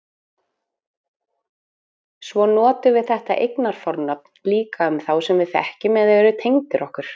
Svo notum við þetta eignarfornafn líka um þá sem við þekkjum eða eru tengdir okkur.